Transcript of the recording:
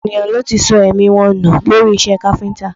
Ọ̀pọ̀ ènìyàn ló ti sọ èmí wọn nù lórí iṣẹ́ káfíńtà